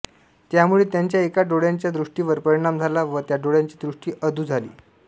त्यामुळे त्यांच्या एका डोळ्याच्या दृष्ट्रीवर परिणाम झाला व त्या डोळ्याची दृष्टी अधू झाली